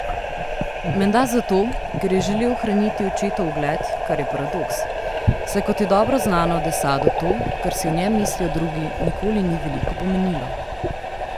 Menda zato, ker je želel ohraniti očetov ugled, kar je paradoks, saj, kot je dobro znano, de Sadu to, kaj si o njem mislijo drugi, nikoli ni veliko pomenilo.